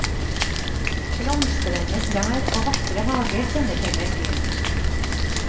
Blomstrende trær og vakre hager kjennetegner byen.